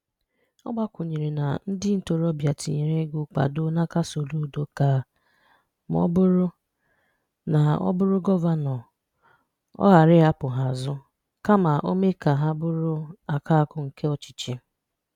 Ọ̀ gbàkwùnyere na ndị̀ ntòròbịa tìnyere égo nkwàdò n’aka Solùdò ka, mà ọ̀ bụrụ́ na ọ̀ bụrụ́ gọ̀vànọ́, ọ̀ ghàrà ị̀hapụ́ hà azụ̀, kàmà ọ̀ méè ka hà bụrụ́ àkàkụ̀ nke ọ̀chịchì.